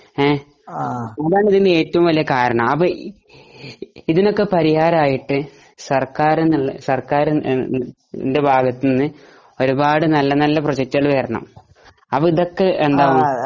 അതാണ് ഇതിന് ഏറ്റവും വലിയ കാരണം ഇതിനൊക്കെ പരിഹാരമായിട്ട് സർക്കാരിന്റെ ഭാഗത്ത് നിന്ന് ഒരുപാട് നല്ല നല്ല പ്രൊജെക്ടുകൾ വരണം അപ്പൊ ഇതൊക്കെ എന്താകും